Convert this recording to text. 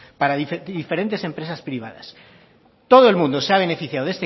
para diferentes empresas privadas todo el mundo se ha beneficiado